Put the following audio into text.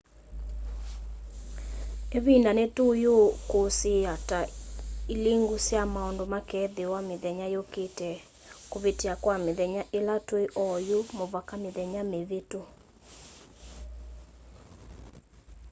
ivinda ni tuyikusiiya ta ilingu sya maundu makethiwa mithenya yukite kuvitia kwa mithenya ila tui ooyu muvaka mithenya mivitu